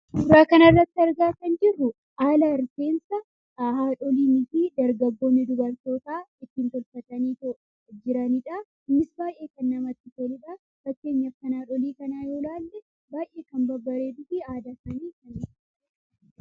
Suuraa kanarratti argaa kan jirru haala rifeensa haadholiinii fi dargaggoonni dubartoota ittiin tolfataniitoo jiranidha. Innis baayyee kan namatti toludha. Fakkeenyaaf kan haadholii kanaa yoo ilaalle baayyee kan babbareeduufi aadaa isaanidha.